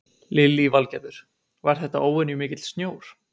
Lillý Valgerður: Var þetta óvenju mikill snjór?